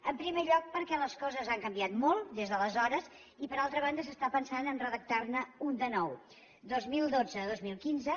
en primer lloc perquè les coses han canviat molt des d’aleshores i per altra banda s’està pensant a redactar ne un de nou dos mil dotze dos mil quinze